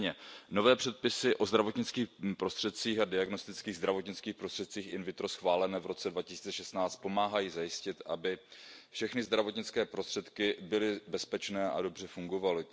Nicméně, nové předpisy o zdravotnických prostředcích a diagnostických zdravotnických prostředcích in vitro schválené v roce 2016 pomáhají zajistit, aby všechny zdravotnické prostředky byly bezpečné a dobře fungovaly.